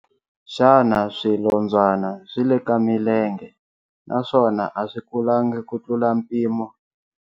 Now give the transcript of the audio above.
Xana swinondzwana swi le ka milenge naswona a swi kulangi ku tlula mpimo?